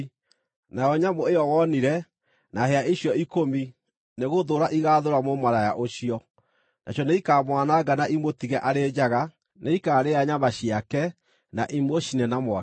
Nayo nyamũ ĩyo wonire, na hĩa icio ikũmi nĩgũthũũra ĩgaathũũra mũmaraya ũcio. Nacio nĩikamwananga na ĩmũtige arĩ njaga; nĩikaarĩa nyama ciake, na imũcine na mwaki.